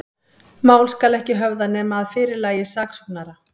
Mál skal ekki höfða, nema að fyrirlagi saksóknara.